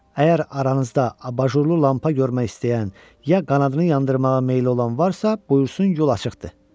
Əgər aranızda abajurlu lampa görmək istəyən, ya qanadını yandırmağa meyli olan varsa, buyursun yol açıqdır.